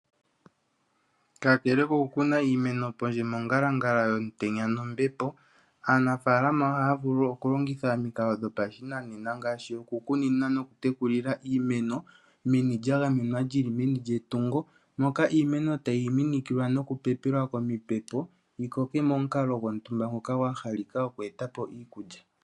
Kakele ko ku kuna iimeno pondje mongalangala yomutenya nombepo, aanafalama ohaya vulu oku longitha omikalo dho pashinanena ngaashi oku kunina noku tekela iimeno meni lya gamenwa lyili meni yetungo moka iimeno tayi minikilwa noku pepelwa omipepo yi koke momukalo gwontumba ngoka gwa halika oku eta po iikulya.